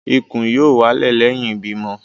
Ikùn r yóò wálẹ̀ lẹ́yìn ìbímọ